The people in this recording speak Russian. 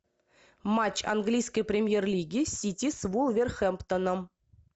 матч английской премьер лиги сити с вулверхэмптоном